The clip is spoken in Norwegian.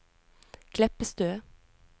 Kleppestø